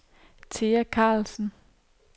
Thea Karlsen